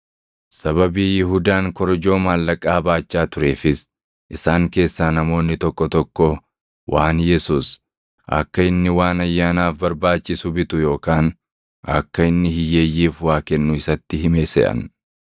Sababii Yihuudaan korojoo maallaqaa baachaa tureefis isaan keessaa namoonni tokko tokko waan Yesuus, akka inni waan Ayyaanaaf barbaachisu bitu yookaan akka inni hiyyeeyyiif waa kennu isatti hime seʼan.